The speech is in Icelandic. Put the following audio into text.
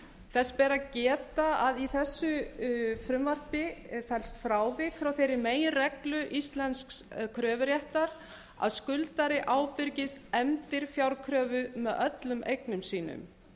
þess ber að geta að í þessu frumvarpi felst frávik frá þeirri meginreglu íslensks kröfuréttar að skuldari ábyrgist endurfjárkröfu með öllum eignum sínum